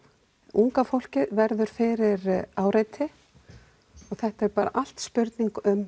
unga fólkið verður fyrir áreiti og þetta er allt spurning um